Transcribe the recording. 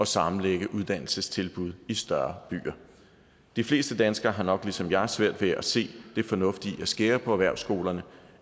sammenlægge uddannelsestilbud i større byer de fleste danskere har nok ligesom jeg svært ved at se det fornuftige i at skære på erhvervsskolerne